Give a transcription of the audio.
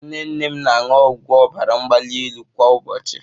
Nne nne m na-aṅụ ọgwụ ọbara mgbali elu kwa ụbọchị